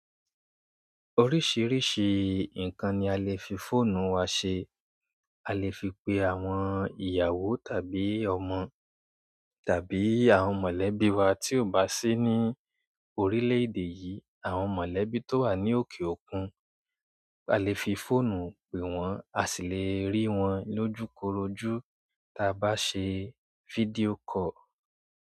Oríṣìíríṣìí ǹkan ni a lè fi fóònù wa ṣe. A lè fi pe àwọn ìyàwó tàbí ọmọ tàbí àwọn mọ̀lẹ́bí wa tí ò bá sí ní orílẹ̀ èdè yìí. Àwọn mọ̀lẹ́bí tó wà ní òkè òkun, a lè fi fóònù pè wọ́n, a sì lè rí wọn lójúkorojú ti a ba se video call.